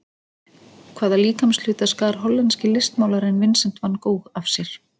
Hvaða líkamshluta skar hollenski listmálarinn Vincent Van Gogh af sér?